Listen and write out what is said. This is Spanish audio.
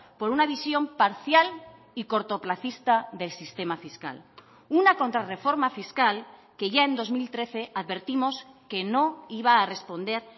por una visión parcial y cortoplacista del sistema fiscal una contrarreforma fiscal que ya en dos mil trece advertimos que no iba a responder